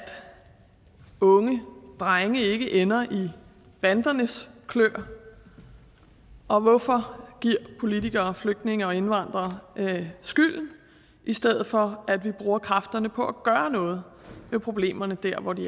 unge drenge ikke ender i bandernes klør og hvorfor giver politikere flygtninge og indvandrere skylden i stedet for at vi bruger kræfterne på at gøre noget ved problemerne der hvor de